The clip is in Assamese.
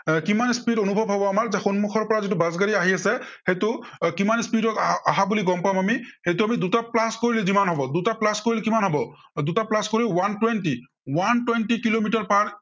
এৰ কিমান speed অনুভৱ হব আমাৰ, যে সন্মুখৰ পৰা যিটো বাছগাড়ী আহি আছে, সেইটো এৰ কিমান speed ত আ~অহা বুলি গম পাম আমি। সেইটো আমি দুটা plus কৰিলে যিমান হব, দুটা plus কৰি কিমান হব, দুটা plus কৰি one twenty, one twenty kilometre per